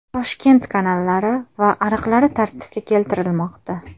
Toshkent kanallari va ariqlari tartibga keltirilmoqda.